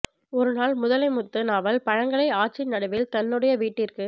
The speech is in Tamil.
ஒருநாள் முதலை முத்து நாவல் பழங்களை ஆற்றின் நடுவில் தன்னுடைய வீட்டிற்கு